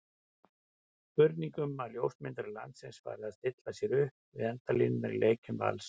Spurning um að ljósmyndarar landsins fari að stilla sér upp við endalínurnar í leikjum Vals?